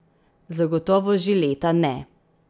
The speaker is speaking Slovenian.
Zagotovo že leta ne.